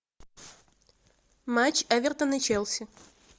матч эвертон и челси